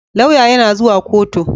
Lauya yana zuwa koto